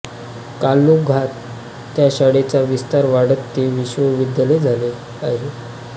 कालौघात त्या शाळेचा विस्तार वाढत ते विश्वविद्यालय झाले आहे